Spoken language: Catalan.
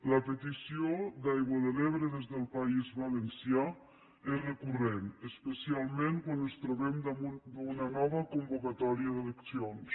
la petició d’aigua de l’ebre des del país valencià és recurrent especialment quan ens trobem damunt d’una nova convocatòria d’eleccions